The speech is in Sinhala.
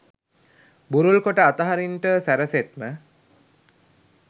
බුරුල් කොට අතහරින්ට සැරසෙත්ම